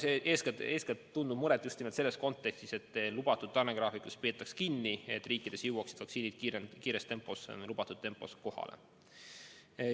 Nii et oleme eeskätt tundnud muret just nimelt selles kontekstis, et lubatud tarnegraafikust peetaks kinni, et riikidesse jõuaksid vaktsiinid kiires tempos, lubatud tempos kohale.